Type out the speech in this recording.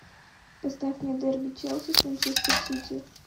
поставь мне дерби челси с манчестер сити